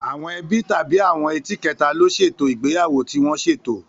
Àwọn ẹbí tàbí àwọn ẹ́ti kẹta ló ṣètò ìgbéyàwó tí wọ́n ṣètò.